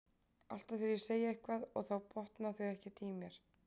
Alltaf þegar ég segi eitthvað og þá botna þau ekkert í mér.